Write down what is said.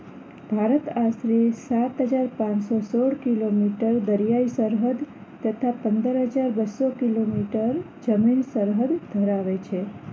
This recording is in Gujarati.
ભારત આશરે સાતહજાર પાનસોસોળ કિલોમીટર દરિયાઈ સરહદ તથા પંદરહજાર બસ્સો કિલો મીટર જમીન સરહદ ધરાવે છે